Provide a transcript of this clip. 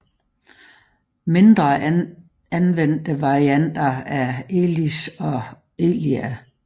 Mindre anvendte varianter er Elis og Elia